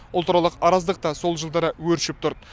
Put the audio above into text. ұлтаралық араздық та сол жылдары өршіп тұрды